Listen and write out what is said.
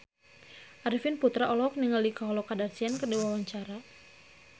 Arifin Putra olohok ningali Khloe Kardashian keur diwawancara